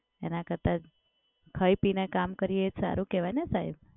એના કરતાં ખાઈ પી ને કામ કરીએ એ સારું કેવાય ને સાહેબ.